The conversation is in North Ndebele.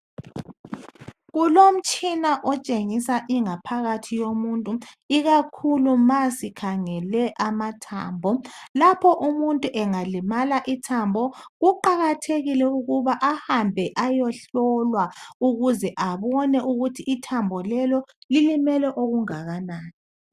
Kulomtshina otshengisa ingaphakathi yomuntu, ikakhulu ma sikhangele amathambo. Lapho umuntu angalimala ithambo, kuqakathekile ukuba ahambeni ayohlolwa ukuze abone ukuthi ithambo lelo lilimele okungakanani.